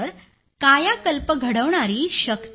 तर कायाकल्प घडवणारी शक्ती आहे